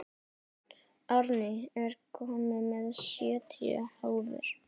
Árný, ég kom með sjötíu húfur!